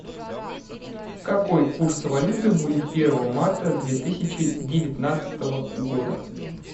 какой курс валюты будет первого марта две тысячи девятнадцатого года